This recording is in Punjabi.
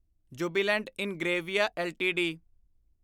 Jubilant Ingrevia LTD